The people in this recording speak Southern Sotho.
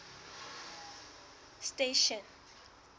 station